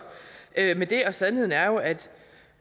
med det og sandheden er jo at